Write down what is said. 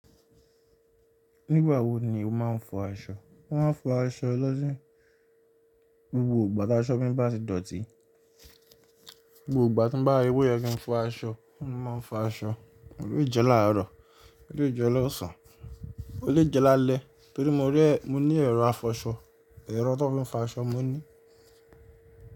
Nígbà wo ni o máa ń fọ aṣọ? Mo máa ń fọ aṣọ lọ́sìn gbogbo ìgbà táa ṣọ́ọ̀ mi bá ti dọ̀tí. Ìgbogbo ìgbà tí n bá ri pé oyé kí n fọ aṣọ, mo máa ń fọ aṣọ. O le jẹ́ láàrọ̀, o le jẹ́ lọ́sàn án, o le jẹ́ lálẹ́, torí mo rí ẹ. Mo ní ẹ̀rọ̀ afọṣọ, ẹ̀rọ̀ tó fi ń fọ aṣọ mo ní.